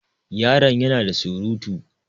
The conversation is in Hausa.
Yaron ya na da surutu.